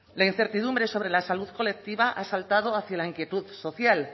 la incertidumbre sobre la salud colectiva ha saltado hacia la inquietud social